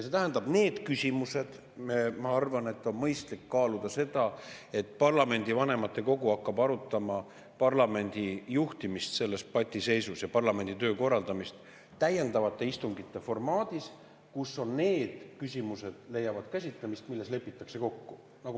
See tähendab, ma arvan, et on mõistlik kaaluda seda, et parlamendi vanematekogu hakkab arutama parlamendi juhtimist selles patiseisus ja parlamendi töö korraldamist täiendavate istungite formaadis, kus leiavad käsitlemist need küsimused, milles lepitakse kokku.